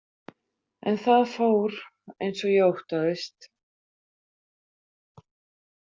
En það fór eins og ég óttaðist.